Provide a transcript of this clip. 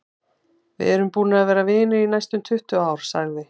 Við erum búnir að vera vinir í næstum tuttugu ár, sagði